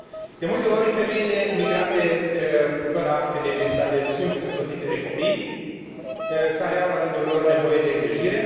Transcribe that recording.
De multe ori, femeile migrante fără acte de identitate sunt însoțite de copii, care au, la rândul lor, nevoie de îngrijire.